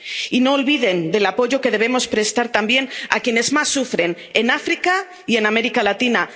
Y no se olviden del apoyo que debemos prestar también a quienes más sufren en África y en América Latina.